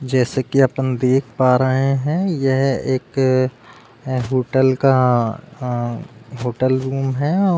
जैसे की अपन देख पा रहे हैं यह एक होटल का होटल रूम है औ --